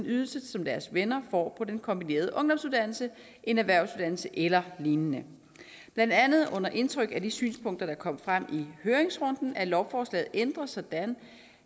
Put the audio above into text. ydelse som deres venner får på den kombinerede ungdomsuddannelse en erhvervsuddanelse eller lignende blandt andet under indtryk af de synspunkter der kom frem i høringsrunden er lovforslaget ændret sådan